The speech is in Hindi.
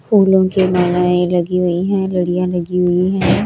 फूलों की मालाए लगी हुई है लड़ियां लगी हुई है।